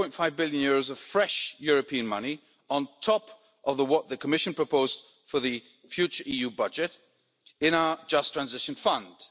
7.5 billion of fresh European money on top of what the Commission proposed for the future EU budget in our Just Transition Fund.